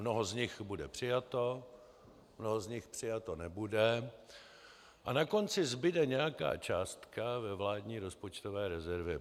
Mnoho z nich bude přijato, mnoho z nich přijato nebude a na konci zbude nějaká částka ve vládní rozpočtové rezervě.